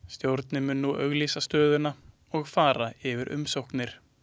Stjórnin mun nú auglýsa stöðuna og fara yfir umsóknir.